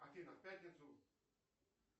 афина в пятницу